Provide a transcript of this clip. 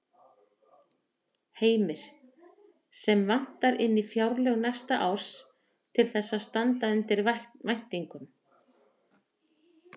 Heimir: Sem vantar inn í fjárlög næsta árs til þess að standa undir væntingum?